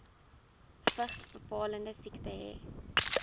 vigsbepalende siekte hê